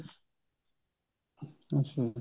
ਅੱਛਿਆ ਜੀ